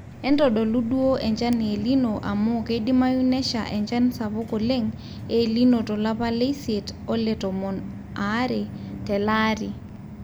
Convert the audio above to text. entodolu duo enchan e el nino amu keidimayu nesha enchan sapuk oleng' el nino tolapa leisiet ole tomon aare telaari